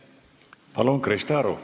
Palun, Krista Aru!